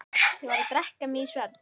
Ég varð að drekka mig í svefn.